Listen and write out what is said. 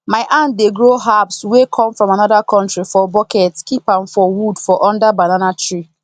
my aunt dey grow herbs wey come from another country for bucket keep am for wood for under banana tree